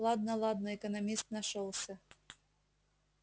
ладно ладно экономист нашёлся